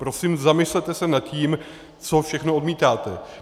Prosím, zamyslete se nad tím, co všechno odmítáte.